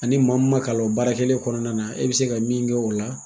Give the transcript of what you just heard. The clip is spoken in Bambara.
Ani maa mi ma kalan o baara kelen kɔnɔna na, e bi se ka min kɛ o la